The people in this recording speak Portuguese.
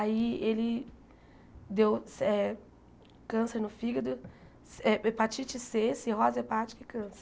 Aí ele deu câncer no fígado, eh hepatite Cê, cirrose hepática e câncer.